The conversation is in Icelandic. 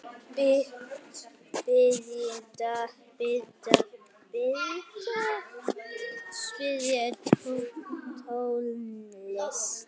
Belinda, spilaðu tónlist.